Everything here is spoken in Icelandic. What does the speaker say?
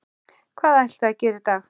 Hvað ætlið þið að gera í dag?